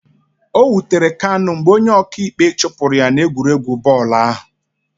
O wutere Kanu mgbe onye ọka ikpe chụpụrụ ya n'egwuregwu bọọlụ ahụ